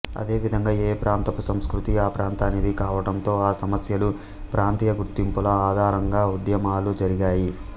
అదేవిధంగా ఏ ప్రాంతపు సంస్కృతి ఆ ప్రాంతానిది కావటంతో ఆ సమస్యలు ప్రాంతీయ గుర్తింపుల ఆధారంగా ఉద్యమాలు జరిగాయి